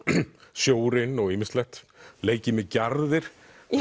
sjórinn og ýmislegt leikið með gjarðir